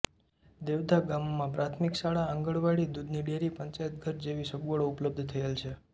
દેવધા ગામમાં પ્રાથમિક શાળા આંગણવાડી દૂધની ડેરી પંચાયતઘર જેવી સગવડો ઉપલબ્ધ થયેલ છે